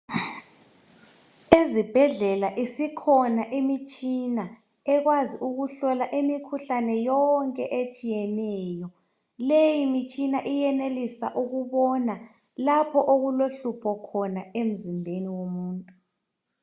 Ezibhedlela isikhona imitshina ekwazi ukuhlola imikhuhlane yonke etshiyeneyo leyi mitshina iyenelisa ukubona lapho okulohlupho khona emzimbeni womuntu